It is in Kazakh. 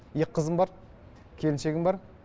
екі қызым бар келіншегім бар